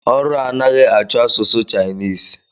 Ọrụ a anaghị achọ asụsụ Chinese